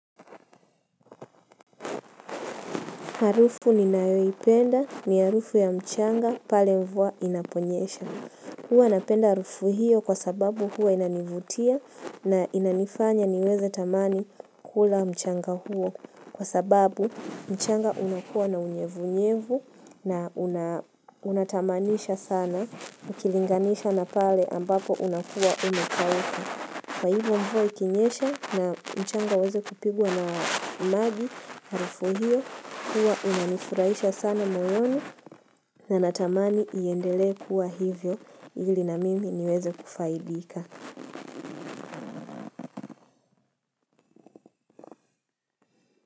Harufu ninayoipenda ni harufu ya mchanga pale mvua inaponyesha. Huwa napenda harufu hiyo kwa sababu huwa inanivutia na inanifanya niweze tamani kula mchanga huo kwa sababu mchanga unakuwa na unyevunyevu na unatamanisha sana ukilinganisha na pale ambapo unakuwa umekauka. Kwa hivyo mvua ikinyesha na mchanga iweze kupigwa na maji harufu hiyo kuwa inanifuraisha sana moyoni na natamani iendelee kuwa hivyo ili na mimi niweze kufaidika.